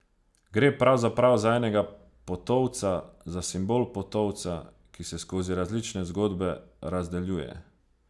Gre pravzaprav za enega potovca, za simbol potovca, ki se skozi različne zgodbe razdeljuje.